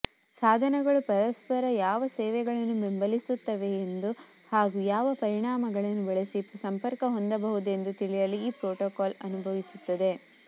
ಸಾಧನಗಳು ಪರಸ್ಪರ ಯಾವ ಸೇವೆಗಳನ್ನು ಬೆಂಬಲಿಸುತ್ತವೆಯೆಂದು ಹಾಗೂ ಯಾವ ಪರಿಮಾಣಗಳನ್ನು ಬಳಸಿ ಸಂಪರ್ಕ ಹೊಂದಬಹುದೆಂದು ತಿಳಿಯಲು ಈ ಪ್ರೋಟೋಕಾಲ್ ಅನುಮತಿಸುತ್ತದೆ